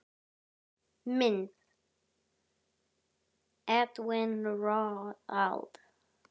Mynd: Edwin Roald.